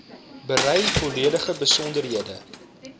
berei volledige besonderhede